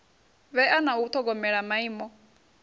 vhea na u ṱhogomela maimo